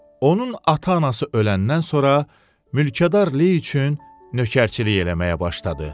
Onun ata-anası öləndən sonra mülkədar Ley üçün nökərçilik eləməyə başladı.